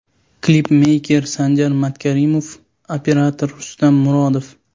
Klipmeyker Sanjar Matkarimov, operator Rustam Murodov.